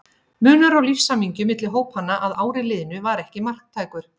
Munur á lífshamingju milli hópanna að ári liðnu var ekki marktækur.